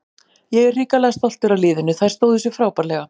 Ég er hrikalega stoltur af liðinu, þær stóðu sig frábærlega.